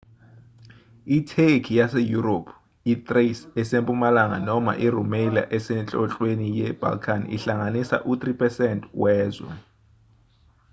itheki yaseyurophu i-thrace esempumalanga noma i-rumelia esenhlonhlweni ye-balkan ihlanganisa u-3% wezwe